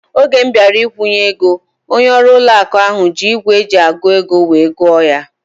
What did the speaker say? Oge m bịara ikwunye ego, onye ọrụ ụlọ akụ ahu ji ígwè eji agụ ego wee gụọ ya